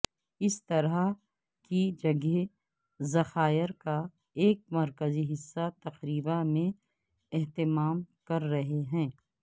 اس طرح کی جگہیں ذخائر کا ایک مرکزی حصہ تقریبا میں اہتمام کر رہے ہیں